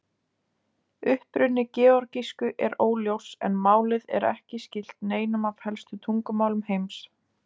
Uppruni georgísku er óljós en málið er ekki skylt neinum af helstu tungumálum heims.